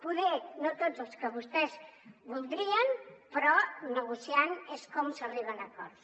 potser no tots als que vostès voldrien però negociant és com s’arriba a acords